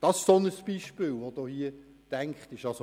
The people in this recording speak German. An solche Beispiele hat man bei diesem Artikel gedacht.